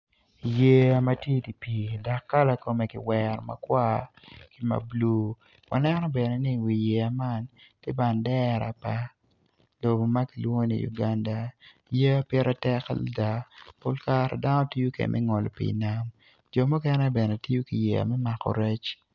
Yeya matye i dipi dok kala kome ki wero makwar ki ma blue waneno bene ni i wi yeya man tye bendera pa lobo makilwongo ni Uganda yeya pire tek adada pol kare dano tiyo kede me ngolo pi i wi nam jo mukene bene tiyo ki yeya me mako rec.